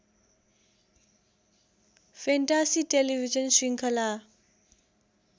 fantasy television शृङ्खला